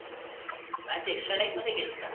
match extra time मध्ये गेली का